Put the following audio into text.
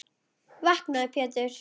Vaknaðu Pétur.